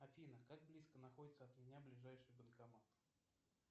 афина как близко находится от меня ближайший банкомат